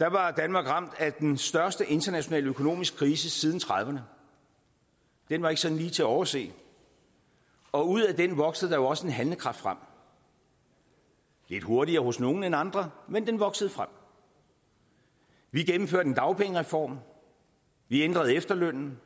var danmark ramt af den største internationale økonomiske krise siden nitten trediverne den var ikke sådan lige til at overse og ud af den voksede der jo også en handlekraft frem lidt hurtigere hos nogle end andre men den voksede frem vi gennemførte en dagpengereform og vi ændrede efterlønnen